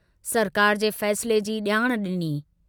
सरकार जे फ़ैसिले जी जाण डिनी।